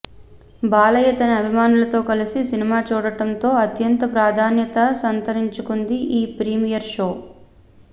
బాలయ్య తన అభిమానులతో కలిసి సినిమా చూడడం తో అత్యంత ప్రాధ్యాన్యత సంతరించుకుంది ఈ ప్రీమియర్ షో